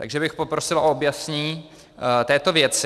Takže bych poprosil o objasnění této věci.